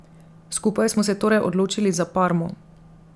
Skupaj smo se torej odločili za Parmo.